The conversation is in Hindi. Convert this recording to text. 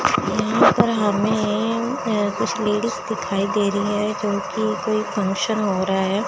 यहां पर हमें अह कुछ लेडिस दिखाई दे रही हैं क्योंकि कोई फंक्शन हो रहा है।